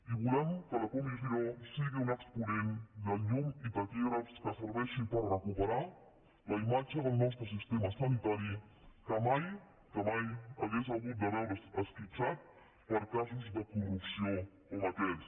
i volem que la comissió sigui un exponent de llum i taquígrafs que serveixi per recuperar la imatge del nostre sistema sanitari que mai hauria hagut de veure’s esquitxat per casos de corrupció com aquests